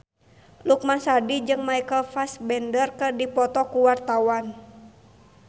Lukman Sardi jeung Michael Fassbender keur dipoto ku wartawan